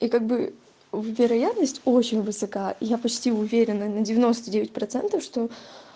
и как бы в вероятность очень высока я почти уверена на девяносто девять процентов что